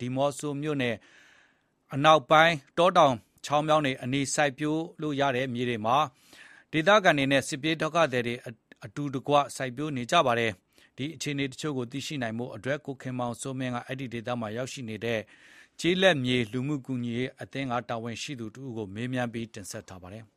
ဒီးမောဆိုမြို့နယ်အနောက်ပိုင်း တောင်ခြေတဝိုက် ချောင်းတွေ၊ မြောင်းတွေနားမှာ ရာသီမရွေး စိုက်ပျိုးလို့ရတဲ့သီးနှံခင်းတွေကို ဒေသခံတွေနဲ့ စစ်ဘေးရှောင်တွေ အတူတကွစိုက်ပျိုးနေကြပါတယ်။ ဘယ်လောက်အတိုင်းအတာ စိုက်ပျိုးနိုင်ကြသလဲဆိုတာ ကိုခင်မောင်စိုးမင်း က အဲဒီဒေသမှာ ရောက်ရှိနေတဲ့ ကျေးလက်မြေအဖွဲ့အစည်း တာဝန်ရှိသူတဦးကို မေးမြန်းပြီး တင်ဆက်ထားပါတယ်။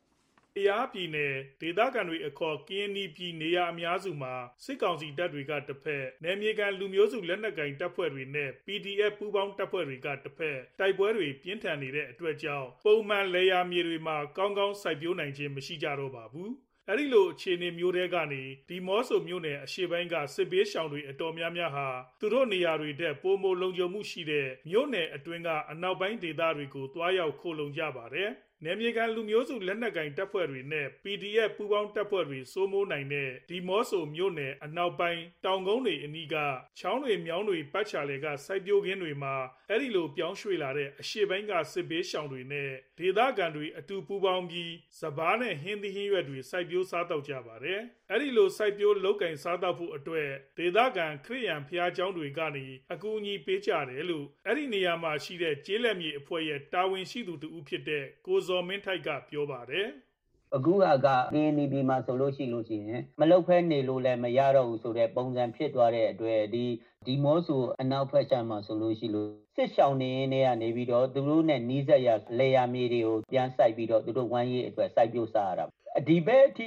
ကယားပြည်နယ် ဒေသခံတွေအခေါ် ကရင်နီပြည်နေရာအများစုမှာ စစ်ကောင်စီတပ်တွေကတဘက်၊ နယ်မြေခံ လူမျိုးစုလက်နက်ကိုင်တပ်ဖွဲ့တွေ နဲ့ PDF ပူးပေါင်းတပ်ဖွဲ့တွေကတဘက် တိုက်ပွဲတွေ ပြင်းထန်နေတဲ့အတွက်ကြောင့် ပုံမှန် လယ်ယာမြေတွေမှာ ကောင်းကောင်းစိုက်ပျိုးနိုင်ခြင်းမရှိကြပါဘူး။ အဲဒီလို အခြေအနေမျိုးထဲကနေ ဒီးမော့ဆိုမြို့နယ် အရှေ့ပိုင်းက စစ်ဘေးရှောင်တွေ အတော်များများဟာ သူတို့နေရာတွေထက် ပိုမိုလုံခြုံမှုရှိတဲ့ မြို့နယ်အတွင်းက အနောက်ပိုင်းဒေသတွေကို သွားရောက်ခိုလှုံကြပါတယ်။ နယ်မြေခံလူမျိုးစုလက်နက်ကိုင်တပ်ဖွဲ့တွေနဲ့ PDF ပူးပေါင်းတပ်ဖွဲ့တွေ စိုးမိုးနိုင်တဲ့ ဒီးမော့ဆိုမြို့နယ် အနောက်ပိုင်းတောင်ကုန်းတွေအနီးကချောင်းတွေ၊ မြောင်းတွေအနီးမှာရှိတဲ့ စိုက်ပျိုးခင်းတွေမှာ အဲဒီလို ပြောင်းရွှေ့လာကြတဲ့ အရှေ့ပိုင်းက စစ်ဘေးရှောင်တွေနဲ့ ဒေသခံတွေအတူပူးပေါင်းပြီး စပါးနဲ့ ဟင်းသီးဟင်းရွက်တွေ စိုက်ပျိုးစားသောက်နေကြပါတယ်။ အဲဒီလို စိုက်ပျိုးလုပ်ကိုင်စားသောက်ဖို့အတွက် ဒေသခံ ခရစ်ယာန်ဘုရားကျောင်းတွေက အကူအညီပေးကြတယ်လို့ ကျေးလက်မြေအဖွဲ့ တာဝန်ရှိသူတဦးဖြစ်တဲ့ ကိုဇော်မင်းထိုက်က ပြောပါတယ်။ “အခုဟာက ကရင်နီပြည်မှာဆိုလို့ရှိရင် မလုပ်ဘဲနေရင်လည်း မရတော့ဘူးဆိုတဲ့ ပုံစံဖြစ်သွားတဲ့အတွက် ဒီးမော့ဆိုအနောက်ဘက်ပိုင်းမှာဆိုလို့ရှိရင် စစ်ရှောင်နေရင်းနဲ့ သူတို့နဲ့နီးစပ်တဲ့ လယ်ယာမြေတွေကို စိုက်ပျိုးစားရတာ။ ဒီဘက် အခု စို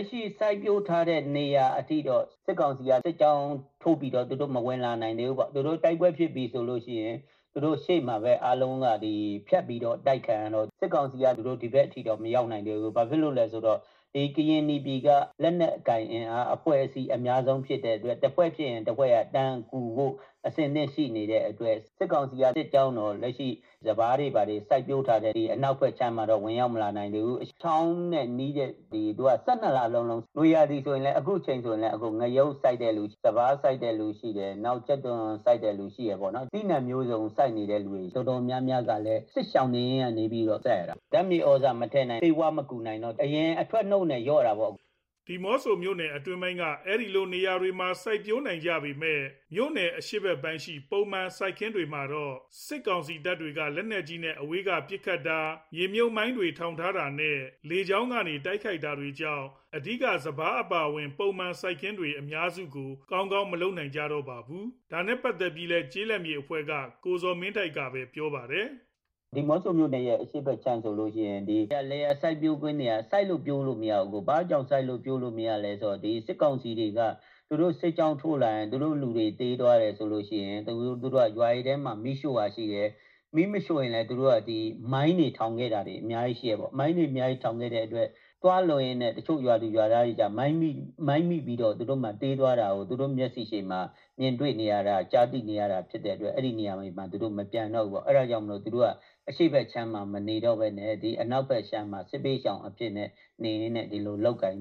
က်ပျိုးထားနိုင်တဲ့နေရာတွေအထိတော့ သူတို့စစ်ကောင်စီစစ်ကြောင်း မဝင်လာနိုင်သေးဘူး။ တိုက်ပွဲဖြစ်ပြီဆိုလို့ရှိရင် သူတို့ဖြတ်ပြီးတော့ အတိုက်ခံရတဲ့အတွက် စစ်ကောင်စီ စစ်ကြောင်း မဝင်လာနိုင်သေးဘူး။ ဘာဖြစ်လို့လဲဆိုတော့ ဒီကရင်နီပြည်က လက်နက်ကိုင်အဖွဲ့တွေက အများဆုံးဖြစ်တဲ့အတွက် တဖွဲ့ဖြစ်ရင်တဖွဲ့က ချက်ချင်းကူညီကြဖို့ အဆင်သင့်ဖြစ်တဲ့အတွက် စစ်ကောင်စီတပ်တွေ ဝင်မလာနိုင်ဘူး။ ချောင်းနဲ့နီးတဲ့အတွက် အခုအချိန်နွေရာသီဆိုရင်လည်း စပါး၊ ကြက်သွန်၊ ငရုတ် သီးနှံမျိုးစုံကိုစိုက်ကြတယ်။ ၁၂ ရာသီ စိုက်လို့ရတယ်။ အခု စိုက်ပျိုးနေတဲ့သူ အတော်များများကလည်း စစ်ရှောင်နေရင်းနဲ့ စိုက်ရတယ်။ ဓါတ်မြေသြဇာမထည့်နိုင်၊ ဆေးဝါးမကူနိုင်တော့ အရင်အထွက်နှုန်းထက် လျော့တာပေါ့။” ဒီးမော့ဆိုမြို့နယ်အနောက်ပိုင်းက အဲဒီလိုနေရာတွေမှာ စိုက်ပျိုးနိုင်ကြပေမယ့် မြို့နယ် အရှေ့ဘက်ပိုင်း ပုံမှန်စိုက်ပျိုးခင်းတွေမှာတော့ စစ်ကောင်စီတပ်တွေက လက်နက်ကြီးနဲ့ အဝေးကပစ်ခတ်တာ၊ မြေမြှုပ်မိုင်းတွေ ထောင်ထားတာနဲ့ လေကြောင်းကနေ တိုက်ခိုက်နေတာတွေကြောင့် အဓိက စပါးအပါအဝင် ပုံမှန်စိုက်ပျိုးခင်းတွေ အများစုကို ကောင်းကောင်း မလုပ်နိုင်တော့ပါဘူး။ ဒါနဲ့ ပတ်သက်ပြီးလည်း ကျေးလက်မြေအဖွဲ့က ကိုဇော်မင်းထိုက်ကပဲ ပြောပါတယ်။ “ဒီးမော့ဆိုမြို့နယ် အရှေ့ဘက်ပိုင်းဆိုလို့ရှိရင် လယ်ယာစိုက်ပျိုးခင်းတွေက စိုက်လို့ ပျိုးလို့မရကြတော့ဘူး။ ဘာလိုလဲဆိုတော့ ဒီစစ်ကောင်စီတွေက သူတို့စစ်ကြောင်းထိုးလာလို့ရှိရင် သူတို့လူတွေသေသွားရင် သူတို့က ရွာတွေထဲမှာ မီးရှို့တာရှိတယ်။ မီးမရှို့ရင်လည်း မိုင်းတွေ ထောင်ခဲ့တာရှိတယ်ပေါ့။ မိုင်းတွေအများကြီးထောင်ခဲ့တဲ့အတွက် သွားလုပ်ရင်းနဲ့ မိုင်းမိပြီးတော့ တချို့ ရွာသူရွာသားတွေ သေသွားတာကို သူတို့ မျက်စေ့ရှေ့မှာ မြင်ကြရ။ ကြားသိကြရတာဖြစ်တဲ့အတွက် သူတို့က အဲဒီအရှေ့ဘက်ခြမ်းမှာ မနေတော့ဘဲ ဒီအနောက်ဘက်ခြမ်းမှာ နေပြီးတော့ လုပ်ကိုင်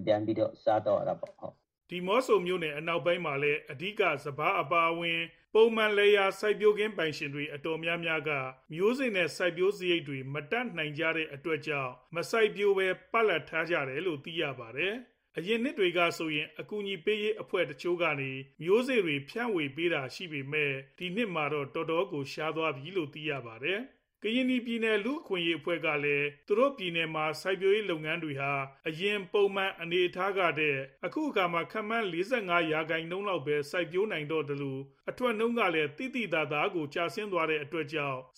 စားသောက်ကြရတာပေါ့။” ဒီးမော့ဆိုမြို့နယ် အနောက်ပိုင်းမှာလည်း အဓိက စပါးအပါအဝင် ပုံမှန် လယ်ယာ စိုက်ပျိုးခင်းပိုင်ရှင်တွေ အတော်များများက မျိုးစေ့နဲ့ စိုက်ပျိုးစရိတ်တွေ မတတ်နိုင်ကြတဲ့အတွက်ကြောင့် မစိုက်ပျိုးဘဲ ပလပ်ထားလိုက်ကြတယ်လို့လည်း သိရပါတယ်။ အရင်နှစ်တွေကဆိုရင် အကူအညီပေးရေးအဖွဲ့တချို့ကနေ မျိုးစေ့တွေ ဖြန့်ဝေပေးတာရှိပေမယ့် ဒီနှစ်မှာတော့ တော်တော်ကို ရှားသွားပြီလို့လည်း သိရပါတယ်။ ကရင်နီပြည်နယ် လူ့အခွင့်အရေးအဖွဲ့ကလည်း သူတို့ပြည်နယ်မှာ စိုက်ပျိုးရေးလုပ်ငန်းတွေဟာ အရင် ပုံမှန်အနေအထားကထက် အခုအခါမှာ ခန့်မှန်း ၄၅ ရာခိုင်နှုန်းလောက်ပဲ စိုက်ပျိုးနိုင်တော့သလို အထွက်နှုန်းတွေကလည်း သိသိသာသာ ကျဆင်းသွားတဲ့အတွက်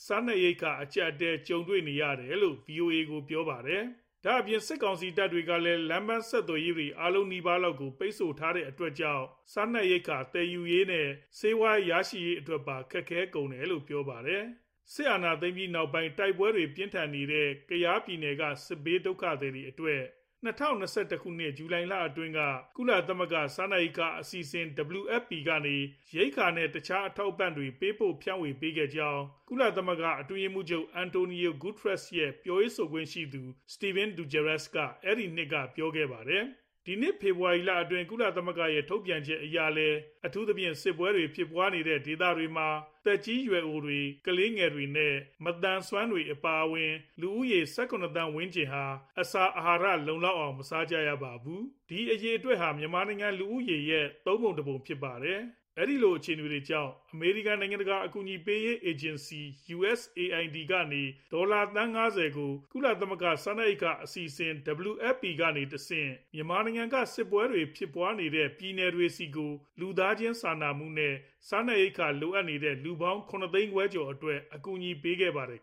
စားနပ်ရိက္ခာ အကြပ်အတည်းကြုံတွေ့နေကြရတယ်လို့ ဗွီအိုအေကို ပြောခဲ့ပါတယ်။ ဒါအပြင် စစ်ကောင်စီတပ်တွေကလည်း လမ်းပန်းဆက်သွယ်ရေးတွေ အားလုံးနီးပါးလောက်ကို ပိတ်ဆို့ထားတဲ့အတွက်ကြောင့် စားနပ်ရိက္ခာ သယ်ယူရေး နဲ့ ဆေးဝါးရရှိရေးတွေပါ ခက်ခဲ့ကုန်တယ်လို့လည်း ပြောပါတယ်။ စစ်အာဏာသိမ်းပြီးနောက်ပိုင်း တိုက်ပွဲတွေ ပြင်းထန်နေတဲ့ ကယားပြည်နယ်က စစ်ပြေးဒုက္ခသည်တွေအတွက် ၂ဝ၂၁ ခုနှစ် ဇူလိုင်လအတွင်းက ကုလသမဂ္ဂ စားနပ်ရိက္ခာအစီအစဉ် WFP ကနေ ရိက္ခာနဲ့ တခြား အထောက်အပံ့တွေ ပေးပို့ဖြန့်ဝေပေးခဲ့ကြောင်း ကုလအတွင်းရေးမှူးချုပ် António Guterres ရဲ့ ပြောရေးဆိုခွင့်ရှိသူ Stephane Dujarric အဲဒီနှစ်က ပြောခဲ့ပါတယ်။ ဒီနှစ် ဖေဖော်ဝါရီလအတွင်း ကုလသမဂ္ဂရဲ့ထုတ်ပြန်ချက်အရလည်း အထူးသဖြင့် စစ်ပွဲတွေဖြစ်ပွားနေတဲ့ဒေသတွေမှာ သက်ကြီးရွယ်အိုတွေ၊ ကလေးငယ်တွေနဲ့ မသန်စွမ်းတွေအပါအဝင် လူဦးရေ ၁၇ သန်းဝန်းကျင်ဟာ အစာအာဟာရ လုံလောက်အောင် မစားကြရပါဘူး။ ဒီအရေအတွက်ဟာ မြန်မာနိုင်ငံ လူဦးရေရဲ့ သုံးပုံတပုံဖြစ်ပါတယ်။ အဲဒီလို အခြေအနေတွေကြောင့် အမေရိကန် နိုင်ငံတကာ အကူအညီပေးရေး အေဂျင်စီ USAID ကနေ ဒေါ်လာ သန်း ၅ဝ ကို ကုလသမဂ္ဂ စားနပ်ရိက္ခာအစီအစဉ် WFP ကနေတဆင့် မြန်မာနိုင်ငံက စစ်ပွဲတွေဖြစ်ပွားနေတဲ့ ပြည်နယ်တွေဆီကို လူသားချင်းစာနာမှု နဲ့ စားနပ်ရိက္ခာလိုအပ်နေတဲ့ လူပေါင်း ၇ သိန်းခွဲကျော်အတွက် အကူအညီပေးခဲ့ပါတယ်